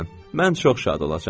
Mən çox şad olacam.